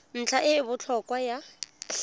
ntlha e e botlhokwa ya